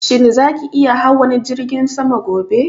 Shin za ki iya hawan jirgin saman gobe?